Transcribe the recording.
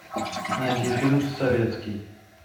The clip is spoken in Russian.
найди фильм советский